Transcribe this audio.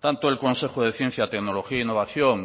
tanto el consejo de ciencia tecnología e innovación